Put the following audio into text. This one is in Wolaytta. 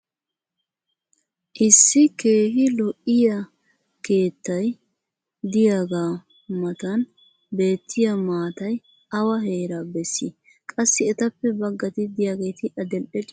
issi keehi lo''iyaa keettay diyaagaa matan beettiya maatay awa heeraa bessii? qassi etappe bagatti diyaageeti adil'e ciishsha meraa oyqqido gaasoy aybee?